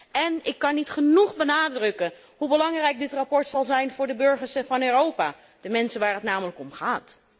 En ik kan niet genoeg benadrukken hoe belangrijk dit verslag zal zijn voor de burgers van Europa, de mensen waar het namelijk om gaat.